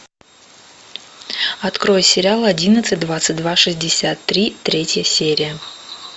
открой сериал одиннадцать двадцать два шестьдесят три третья серия